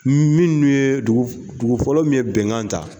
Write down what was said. Minnu ye, dugu fɔlɔ min ye bɛnkan ta.